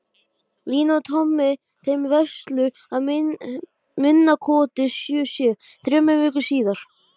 Daníela, hvaða sýningar eru í leikhúsinu á föstudaginn?